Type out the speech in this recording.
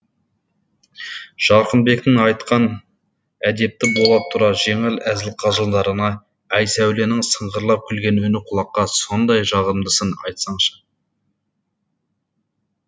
жарқынбектің айтқан әдепті бола тұра жеңіл әзіл қалжыңдарына айсәуленің сыңғырлап күлген үні құлаққа сондай жағымдысын айтсаңшы